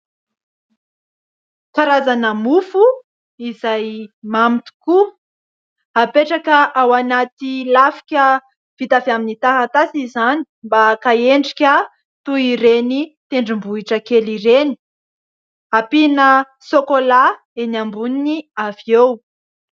Karazana mofo, izay mamy tokoa apetraka ao anaty lafika vita avy amin'ny taratasy izany mba haka endrika toy ireny tendrombohitra kely ireny, ampiana sokolà eny amboniny avy eo.